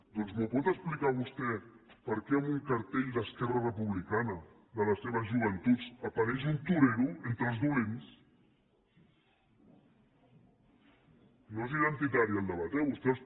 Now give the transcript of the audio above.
doncs m’ho pot explicar vostè per què en un cartell d’esquerra republicana de les seves joventuts apareix un torero entre els dolents no és identitari el debat eh vostès